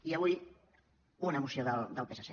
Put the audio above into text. i avui una moció del psc